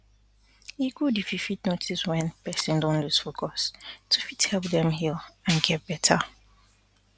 e good if you fit notice wen person don loose focus to fit help dem heal and get better